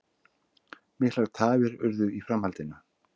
Miklar tafir urðu í framhaldinu